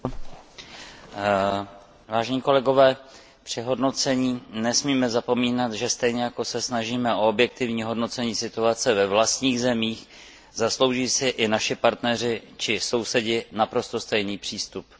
Pane předsedající, při hodnocení nesmíme zapomínat, že stejně jako se snažíme o objektivní hodnocení situace ve vlastních zemích, zaslouží si i naši partneři či sousedi naprosto stejný přístup.